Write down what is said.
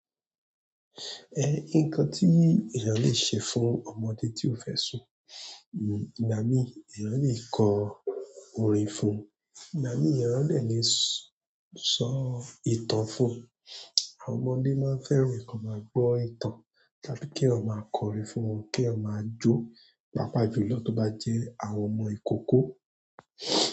Eh, nǹkan tí èèyàn le ṣe fún ọmọdé tí o fẹ sùn, ìgbà mí èèyàn le kọ orin fún un, ìgbà mi èèyàn le le sọ ìtàn fún un. Àwọn ọmọdé máa fẹẹran komáa gbọ ìtàn tàbí kí èèyàn máa kọrin fún wọn, kí wọn máa jó, pàápàá jùlọ tó bá jẹ́ àwọn ọmọ ìkókó.